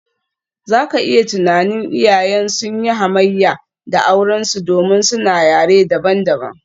Za ka iya tunanin, iyayen sun yi hamayya da aurensu domin suna yare dabam-dabam.